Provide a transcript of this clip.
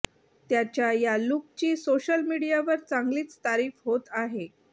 त्याच्या या लूकची सोशल मीडियावर चांगलीच तारीफ होत आहे